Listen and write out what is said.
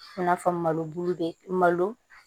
I n'a fɔ malo bulu bɛ malo